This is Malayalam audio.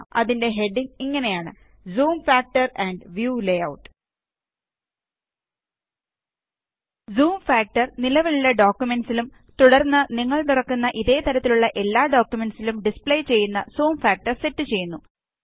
അതിന്റെ ഹെഡിംഗ് ഇങ്ങനെയാണ് zoom factor amp view layout zoom factor നിലവിലുള്ള ഡോക്കുമെന്റിലും തുടര്ന്ന് നിങ്ങള് തുറക്കുന്ന ഇതേ തരത്തിലുള്ള എല്ലാ ഡോക്കുമെന്റ്സിലും ഡിസ്പ്ലേ ചെയ്യുന്ന സൂം ഫാക്ടര് സെറ്റ് ചെയ്യുന്നു